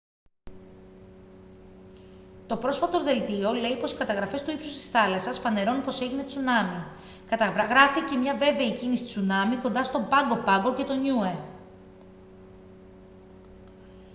το πρόσφατο δελτίο λέει πως οι καταγραφές του ύψους της θάλασσας φανερώνουν πως έγινε τσουνάμι καταγράφηκε μια βέβαιη κίνηση τσουνάμι κοντά στο πάγκο πάγκο και το νιούε